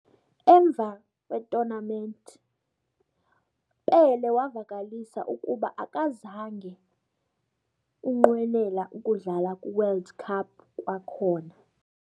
Emva tournament, Pelé wavakalisa ukuba akazange unqwenela ukudlala kwi World Cup kwakhona.